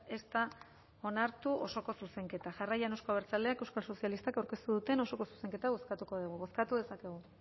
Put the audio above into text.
ez da onartu osoko zuzenketa jarraian euzko abertzaleak eta euskal sozialistak aurkeztu duten osoko zuzenketa bozkatuko dugu bozkatu dezakegu